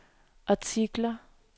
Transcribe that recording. artikler